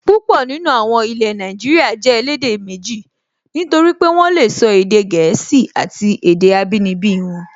Púpọ̀ nínú àwọn ilẹ̀ Nàìjíríyà jẹ́ elédè méjì, nítorí pé wọ́n lè sọ èdè gẹ̀ẹ́sì àti èdè abínibí wọn